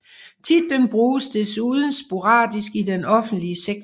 Titlen bruges desuden sporadisk i den offentlige sektor